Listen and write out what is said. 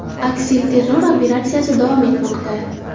Aksilterror operatsiyasi davom etmoqda.